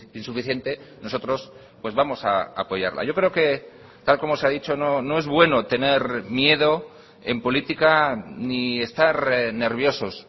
insuficiente nosotros pues vamos a apoyarla yo creo que tal como se ha dicho no es bueno tener miedo en política ni estar nerviosos